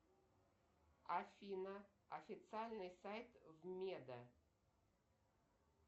афина официальный сайт вмеда